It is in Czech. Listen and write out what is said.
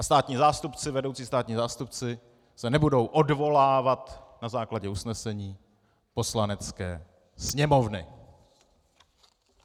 A vedoucí státní zástupci se nebudou odvolávat na základě usnesení Poslanecké sněmovny.